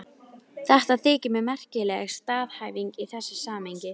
Þetta þykir mér merkileg staðhæfing í þessu samhengi.